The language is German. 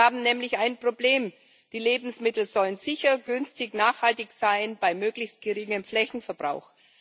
Wir haben nämlich ein Problem Die Lebensmittel sollen sicher, günstig und nachhaltig sein, bei möglichst geringem Flächenverbrauch.